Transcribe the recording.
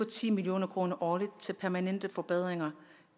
ti million kroner årligt til permanente forbedringer